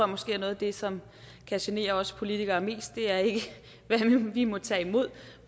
måske er noget af det som kan genere os politikere mest altså det er ikke hvad vi må tage imod